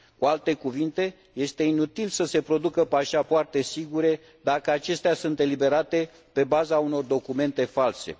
Cu alte cuvinte, este inutil să se producă pașapoarte sigure dacă acestea sunt eliberate pe baza unor documente false.